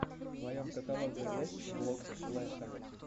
в твоем каталоге есть влог флэша